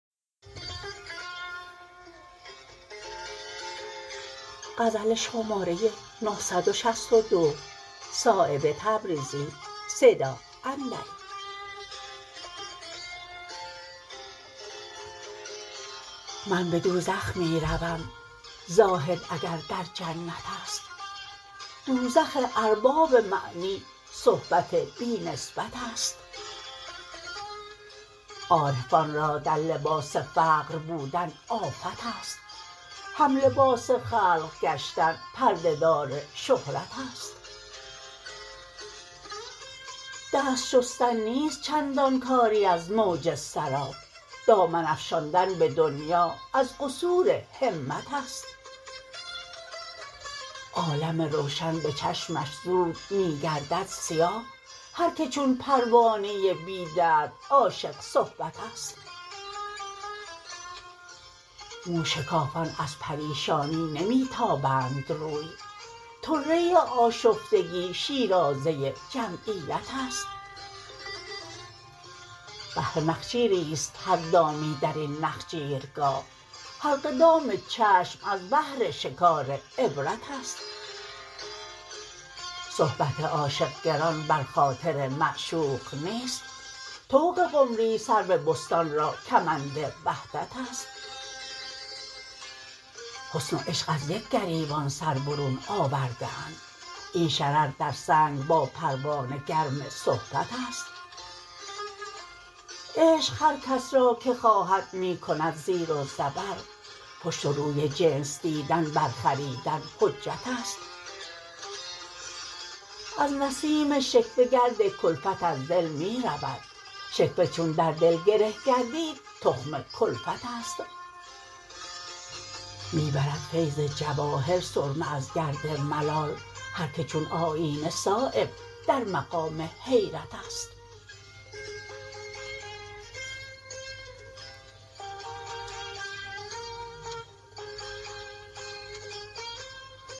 من به دوزخ می روم زاهد اگر در جنت است دوزخ ارباب معنی صحبت بی نسبت است عارفان را در لباس فقر بودن آفت است هم لباس خلق گشتن پرده دار شهرت است دست شستن نیست چندان کاری از موج سراب دامن افشاندن به دنیا از قصور همت است عالم روشن به چشمش زود می گردد سیاه هر که چون پروانه بی درد عاشق صحبت است موشکافان از پریشانی نمی تابند روی طره آشفتگی شیرازه جمعیت است بهر نخجیری است هر دامی درین نخجیرگاه حلقه دام چشم از بهر شکار عبرت است صحبت عاشق گران بر خاطر معشوق نیست طوق قمری سرو بستان را کمند وحدت است حسن و عشق از یک گریبان سر برون آورده اند این شرر در سنگ با پروانه گرم صحبت است عشق هر کس را که خواهد می کند زیر و زبر پشت و روی جنس دیدن بر خریدن حجت است از نسیم شکوه گرد کلفت از دل می رود شکوه چون در دل گره گردید تخم کلفت است می برد فیض جواهر سرمه از گرد ملال هر که چون آیینه صایب در مقام حیرت است